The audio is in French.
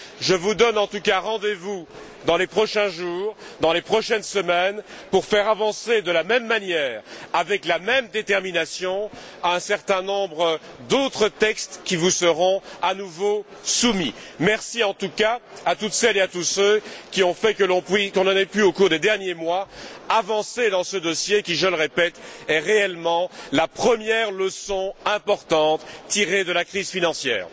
Je vous donne en tout cas rendez vous dans les prochains jours, dans les prochaines semaines, pour faire avancer de la même manière, avec la même détermination, un certain nombre d'autres textes qui vous seront à nouveau soumis. Merci, en tout cas, à toutes celles et à tous ceux qui ont fait que l'on ait pu, au cours des derniers mois, avancer dans ce dossier qui, je le répète, est réellement la première leçon importante tirée de la crise financière.